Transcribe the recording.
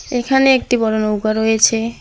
এখানে একটি বড় নৌকা রয়েছে।